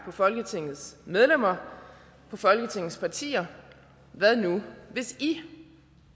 på folketingets medlemmer på folketingets partier hvad nu hvis i